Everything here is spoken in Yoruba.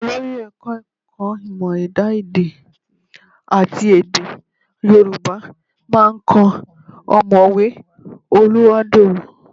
Olórí Ẹ̀ka-ẹ̀kọ́ Ìmọ̀ Ẹ̀dá èdẹ àti Èdè Yorùbá máa kan ọ̀mọ̀wé Oluwádorò